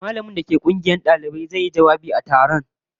Mallamin da ke Uban kungiyar dalibai masu yaki da shan kwaya zai yi jawabi a taron